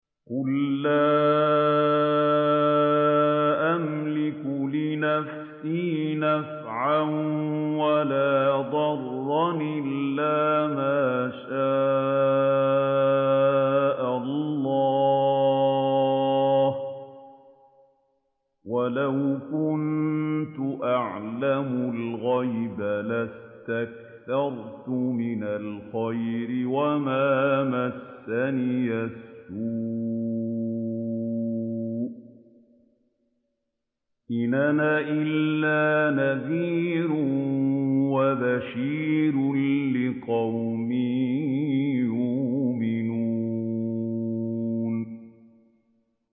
قُل لَّا أَمْلِكُ لِنَفْسِي نَفْعًا وَلَا ضَرًّا إِلَّا مَا شَاءَ اللَّهُ ۚ وَلَوْ كُنتُ أَعْلَمُ الْغَيْبَ لَاسْتَكْثَرْتُ مِنَ الْخَيْرِ وَمَا مَسَّنِيَ السُّوءُ ۚ إِنْ أَنَا إِلَّا نَذِيرٌ وَبَشِيرٌ لِّقَوْمٍ يُؤْمِنُونَ